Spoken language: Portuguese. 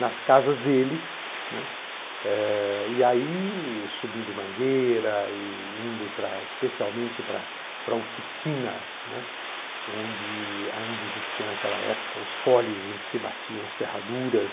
nas casas deles, né, eh, eai subindo em mangueira e indo especialmente para a oficina, né, onde ainda existiam naquela época os folhes em que se batiam as ferraduras.